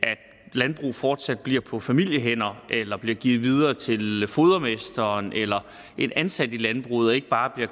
landbrug fortsat bliver på familiehænder eller bliver givet videre til fodermesteren eller en ansat i landbruget og ikke bare bliver